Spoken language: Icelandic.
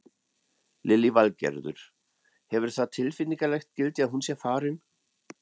Lillý Valgerður: Hefur það tilfinningalegt gildi að hún sé farin?